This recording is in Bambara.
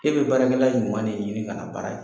E bi baarakɛla ɲuman de ɲini kana baara kɛ